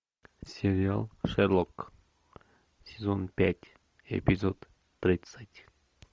сериал шерлок сезон пять эпизод тридцать